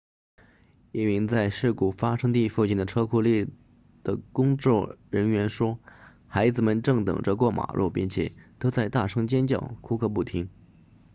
一名在事故发生地附近的车库立的工作人员说孩子们正等着过马路并且都在大声尖叫哭个不停